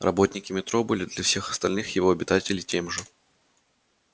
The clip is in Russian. работники метро были для всех остальных его обитателей тем же